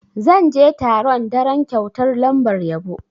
Zan je taron daren kyautar lambar yabo.